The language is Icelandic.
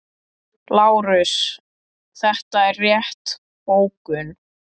LÁRUS: Þetta er rétt bókun.